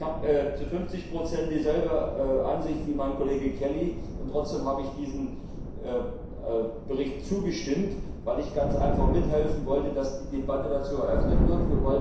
Ich bin zu 50 Prozent derselben Ansicht wie mein Kollege Kelly und trotzdem habe ich diesem Bericht zugestimmt, weil ich ganz einfach mithelfen wollte, dass die Debatte dazu eröffnet wird.